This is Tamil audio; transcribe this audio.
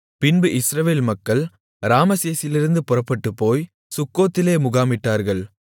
பின்பு இஸ்ரவேல் மக்கள் ராமசேசிலிருந்து புறப்பட்டுப்போய் சுக்கோத்திலே முகாமிட்டார்கள்